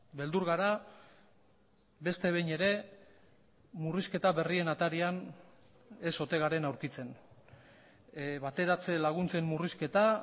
beldur gara beste behin ere murrizketa berrien atarian ez ote garen aurkitzen bateratze laguntzen murrizketa